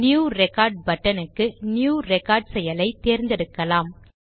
new record buttonக்கு new record செயலை தேர்ந்தெடுக்கலாம்